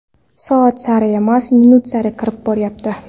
Soat sari emas, minut sari kirib boryapti.